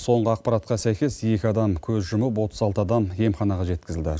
соңғы ақпаратқа сәйкес екі адам көз жұмып отыз алты адам емханаға жеткізілді